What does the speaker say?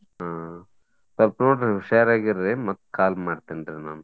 ಹಾ ಸ್ವಲ್ಪ ನೋಡ್ರಿ ಹುಷಾರಾಗಿರ್ರಿ ಮತ್ call ಮಾಡ್ತೆನ್ರಿ ನಾನ್.